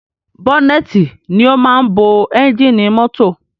Bọ́nẹ́tì ni o máa ń bo ẹ́ngìnì mọ́tọ̀.